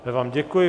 Já vám děkuji.